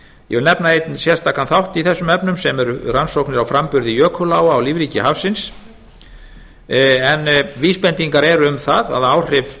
ég vil nefna einn sérstakan þátt í þessum efnum sem eru rannsóknir á framburði jökuláa á lífríki hafsins en vísbendingar eru um það hvaða áhrif